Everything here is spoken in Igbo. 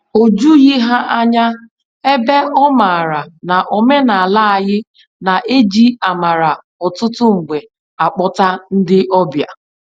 O jughị ya ányá, ebe ọ maara na omenala anyị na-eji amara ọtụtụ mgbe akpọta ndị ọbịa.